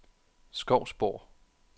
Skovsborg